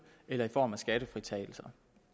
eller i form af skattefritagelse